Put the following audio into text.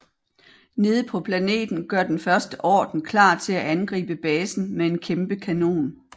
Nede på planeten gør Den første orden klar til at angribe basen med en kæmpe kanon